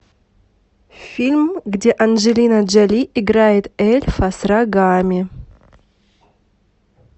фильм где анджелина джоли играет эльфа с рогами